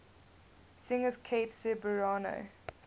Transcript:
singers kate ceberano